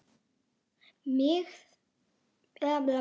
Mér þætti vænt um ef þú slepptir titlinum sagði Friðrik.